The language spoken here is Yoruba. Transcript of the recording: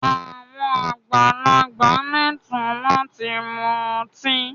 Àwọn àgbàlagbà lẹ́ẹ̀tọ́ láti mu ọtí.